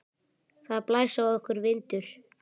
Það blæs á okkur vindur.